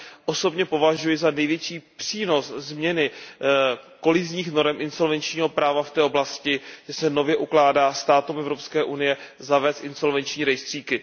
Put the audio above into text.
Osobně považuji za největší přínos změny kolizních norem insolvenčního práva skutečnost, že se nově ukládá státům Evropské unie povinnost zavést insolvenční rejstříky.